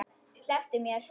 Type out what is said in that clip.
Slepptu mér!